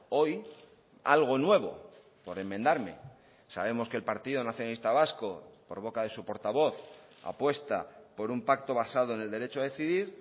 hoy algo nuevo por enmendarme sabemos que el partido nacionalista vasco por boca de su portavoz apuesta por un pacto basado en el derecho a decidir